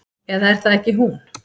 Eða er það ekki hún?